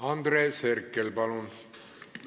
Andres Herkel, palun!